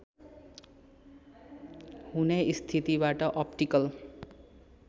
हुने स्थितिबाट अप्टिकल